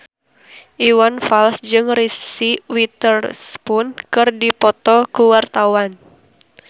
Iwan Fals jeung Reese Witherspoon keur dipoto ku wartawan